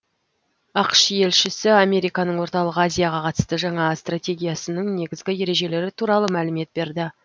ақш елшісі американың орталық азияға қатысты жаңа стратегиясының негізгі ережелері туралы мәлімет берді